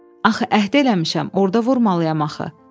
Axı əhd eləmişəm, orda vurmalıyam axı.”